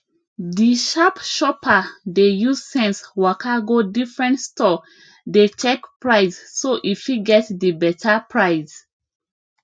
di sharp shopper dey use sense waka go different store dey check price so e fit get di beta price